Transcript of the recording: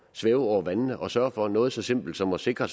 svæve over vandene og sørge for noget så simpelt som at sikre